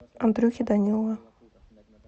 андрюхи данилова